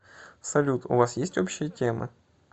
салют у вас есть общие темы